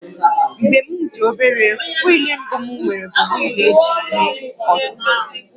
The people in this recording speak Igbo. Mgbe m dị obere, wịịlụ mbụ m nwere bụ wịịlụ eji eme ọzụzụ